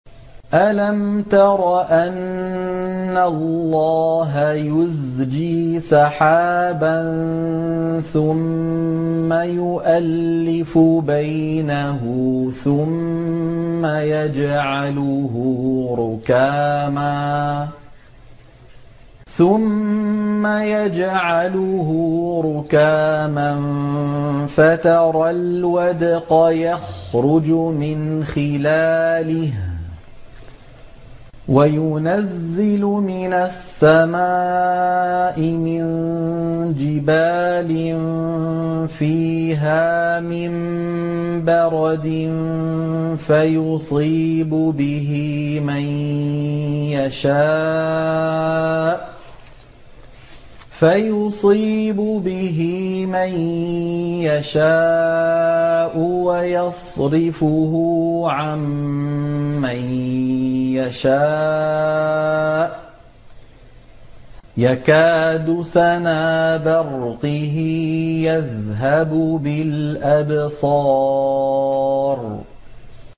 أَلَمْ تَرَ أَنَّ اللَّهَ يُزْجِي سَحَابًا ثُمَّ يُؤَلِّفُ بَيْنَهُ ثُمَّ يَجْعَلُهُ رُكَامًا فَتَرَى الْوَدْقَ يَخْرُجُ مِنْ خِلَالِهِ وَيُنَزِّلُ مِنَ السَّمَاءِ مِن جِبَالٍ فِيهَا مِن بَرَدٍ فَيُصِيبُ بِهِ مَن يَشَاءُ وَيَصْرِفُهُ عَن مَّن يَشَاءُ ۖ يَكَادُ سَنَا بَرْقِهِ يَذْهَبُ بِالْأَبْصَارِ